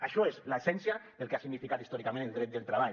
això és l’essència del que ha significat històricament el dret del treball